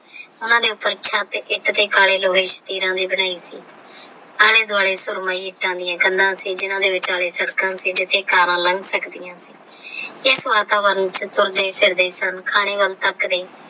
ਉਹਨਾਂ ਦੇ ਉੱਪਰ ਛੱਤ ਇੱਕ ਤੇ ਕਾਲੇ ਲੋਹੇ ਦੇ ਬਣਾਏ ਸੀ ਆਲੇ ਦੁਵਾਲੇ ਕੰਧਾਂ ਸੀ ਜਿਨ੍ਹਾਂ ਦੇ ਵਿਚਾਲੇ ਸੜਕਾਂ ਸੀ ਜਿੱਥੇ ਕਾਰਾ ਲੰਘ ਸਕਦੀਆਂ ਸਨ ਇਸ ਵਾਤਾਵਰਣ ਵਿੱਚ ਤੋਰਦੇ ਫਿਰਦੇ ਸਨ ਖਾਣੇ ਵੱਲ ਤੱਕਦੇ।